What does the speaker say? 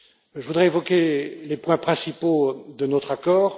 Je voudrais évoquer les points principaux de notre accord.